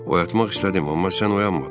Oyatmaq istədim, amma sən oyanmadın.